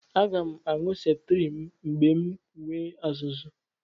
Aga m aṅụ septriim mgbe m nwee azụzụ̀.